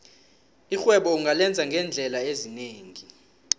irhwebo ungalenza ngeendlela ezinengi